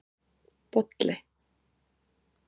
Bolli